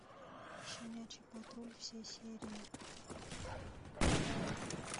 щенячий патруль все серии